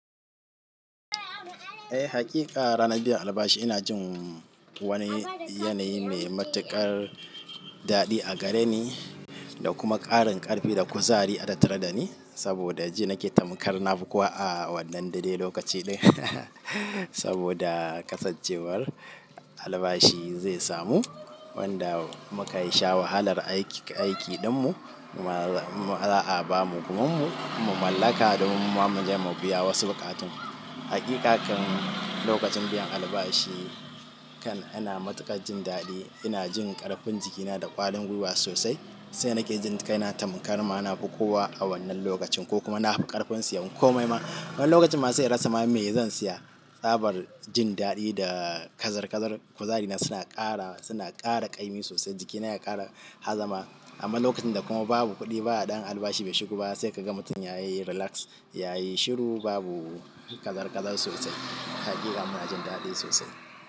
Eh hakika ranar biyan albashi ina jin wani yanayi mai matuƙar daɗi a gare ni, da kuma ƙarin ƙarfi da kuzari a tattare da ni saboda ji nake tamkar na fi kowa a wannan daidai lokaci ɗin saboda kasancewar albashi zai samu wanda muka yi sha wahalar aiki ɗinmu, kuma za'a ba mu gumunmu mu mallaka domin muma muje mu biya wasu bukatun. Hakika kan lokacin biyan albashi kan, ina matuƙar jin daɗi, ina jin ƙarfin jikina da ƙwarin gwiwa sosai, sai nake jin kai na tamkar ma na fi kowa a wannan lokacin, ko kuma na fi ƙarfin sayan komai ma. Wani lokacin ma sai in rasa ma mai zan siya, tsabar jin daɗi, da kazar kazar, kuzari na suna ƙara suna ƙara ƙaimi sosai jikina ya ƙara hazama, amma lokacin da kuma babu kuɗi ba ɗan albashi bai shigo ba sai ka ga mutum yayi relax yayi shiru babu kazar kazar sosai, hakika muna jin daɗi sosai.